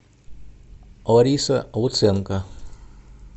лариса луценко